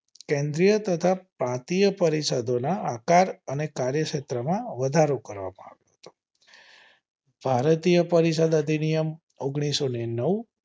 કેન્દ્રીય તથા પાતીય પરિષદો ના આકાર અને કાર્યક્ષેત્ર માં વધારો કરવામાં આવ્યો હતો ભારતીય પરિષદ અધિનિયમ ઓન્ગ્લીસો ને નવ